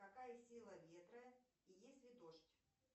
какая сила ветра есть ли дождь